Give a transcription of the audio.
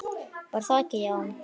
Var það ekki, já!